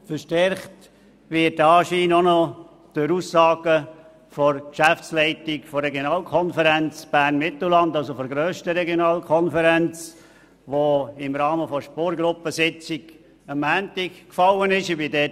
Verstärkt wird dieser Anschein durch eine Aussage der Geschäftsleitung der Regionalkonferenz Bern-Mittelland, der grössten Regionalkonferenz, die im Rahmen der Spurgruppensitzung am Montag gefallen ist.